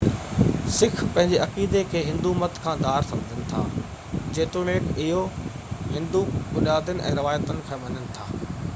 sick پنهنجي عقيدي کي هندو مت کان ڌار سمجهن ٿا جيتوڻڪ اهي هندو بنيادن ۽ روايتن کي مڃن ٿا